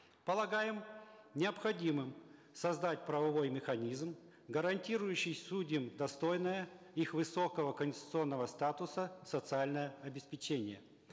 полагаем необходимым создать правовой механизм гарантирующий судьям достойное их высокого конституционного статуса социальное обеспечение